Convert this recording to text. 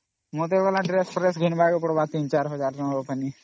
ମତେ ବି Dress ଘିଣୀବକେ ପଡିବା 3000 ରୁ 4000 ରେ